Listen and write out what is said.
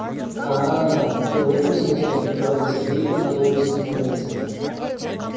аа ты в этом смысле говорит сергей и надолго задумывается